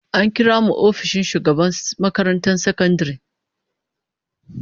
An kira mu ofishin shugaban makarantar sakandare